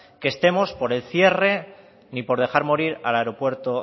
que estemos por el cierre ni por dejar morir al aeropuerto